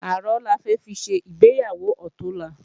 Àrán la fẹ́ fi ṣe ìgbéyàwó ọ̀túnla